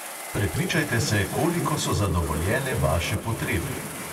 Prepričajte se, koliko so zadovoljene vaše potrebe.